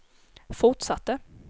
fortsatte